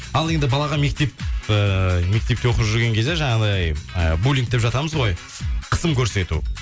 ал енді балаға мектеп ыыы мектепте оқып жүрген кезде жанағындай ы булинг деп жатамыз ғой қысым көрсету